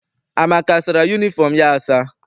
Amaka asara yunifọm ya asa?